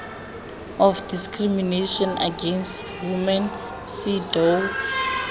of discrimination against women cedaw